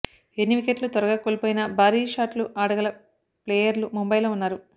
ఎన్ని వికెట్లు త్వరగా కోల్పోయినా భారీ షాట్లు ఆడగల ప్లేయర్లు ముంబైలో ఉన్నారు